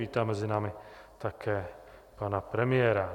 Vítám mezi námi také pana premiéra.